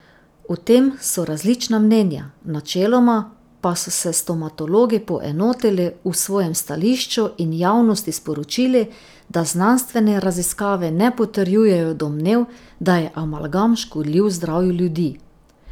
O tem so različna mnenja, načeloma pa so se stomatologi poenotili v svojem stališču in javnosti sporočili, da znanstvene raziskave ne potrjujejo domnev, da je amalgam škodljiv zdravju ljudi.